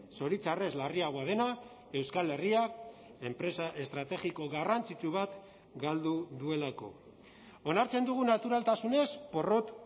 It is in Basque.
zoritxarrez larriagoa dena euskal herriak enpresa estrategiko garrantzitsu bat galdu duelako onartzen dugu naturaltasunez porrot